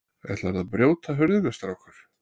Ætlarðu að brjóta hurðina, strákur?